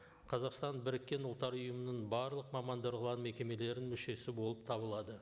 қазақстан біріккен ұлттар ұйымының барлық мамандырылған мекемелерінің мүшесі болып табылады